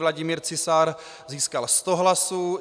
Vladimír Cisár získal 100 hlasů.